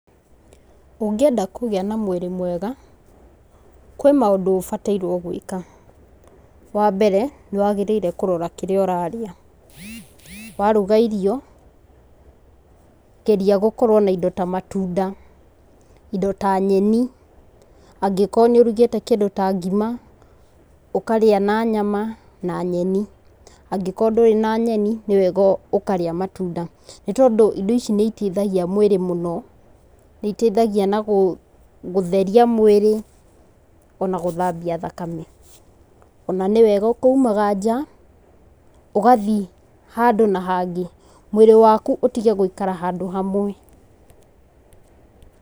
Ũngĩenda kũgĩa na mwĩrĩ mwega, kwĩ maũndũ ũbatairwo gwĩka. Wa mbere, nĩ wagĩrĩirwo kũrora kĩrĩa ũrarĩa. Waruga irio, geria gũkorwo na indo ta matunda, indo ta nyeni, angĩkorwo nĩ ũrugĩte kĩndũ ta ngima, ũkarĩa na nyama na nyeni. Angĩkorwo ndũrĩ na nyeni nĩ wega ũkarĩa matunda, nĩ tondũ indo ici nĩ itaithagia mwĩrĩ mũno, nĩ itaithagia na gũtheria mwĩrĩ ona gũthambia thakame. Ona nĩwega ũkaumaga nja, ũgathiĩ handũ na hangĩ, mwĩrĩ waku ũtige gũikara handũ hamwe.